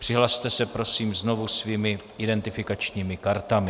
Přihlaste se, prosím, znovu svými identifikačními kartami.